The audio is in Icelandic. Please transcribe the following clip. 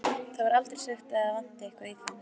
Það er aldrei sagt að það vanti eitthvað í þá.